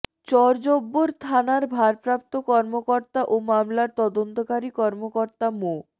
চরজব্বর থানার ভারপ্রাপ্ত কর্মকর্তা ও মামলার তদন্তকারী কর্মকর্তা মো